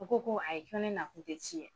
O ko ko a yi ko ne na kun tɛ ci ye.